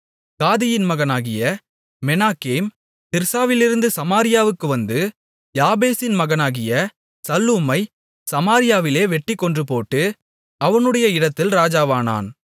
காதியின் மகனாகிய மெனாகேம் திர்சாவிலிருந்து சமாரியாவுக்கு வந்து யாபேசின் மகனாகிய சல்லூமை சமாரியாவிலே வெட்டிக் கொன்றுபோட்டு அவனுடைய இடத்தில் ராஜாவானான்